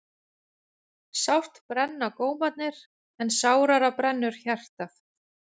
Sárt brenna gómarnir en sárara brennur hjartað.